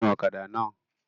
Gun ọ̀kadà náà!